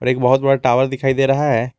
एक बहुत बड़ा टावर दिखाई दे रहा है।